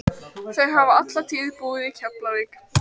Þau hafa alla tíð búið í Keflavík.